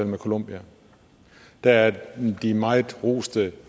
med colombia der er de meget roste